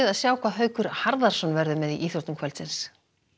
sjá hvað Haukur Harðarson verður með í íþróttum kvöldsins